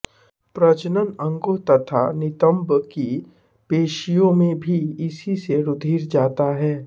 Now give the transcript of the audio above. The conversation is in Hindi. प्रजनन अंगों तथा नितंब की पेशियों में भी इसी से रुधिर जाता है